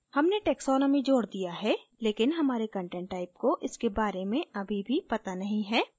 हमने taxonomy जोड दिया है लेकिन हमारे content type को इसके बारे में अभी भी पता नहीं है